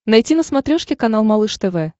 найти на смотрешке канал малыш тв